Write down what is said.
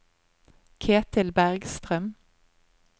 Ketil Bergstrøm